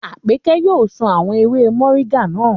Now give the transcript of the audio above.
Àpẹ́kẹ́ yóò sun àwọn ewé mọ̀ríńgà naa.